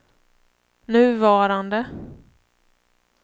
nuvarande